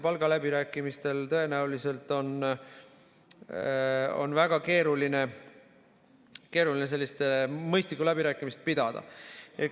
Palgaläbirääkimistel oleks tõenäoliselt väga keeruline mõistlikke läbirääkimisi pidada.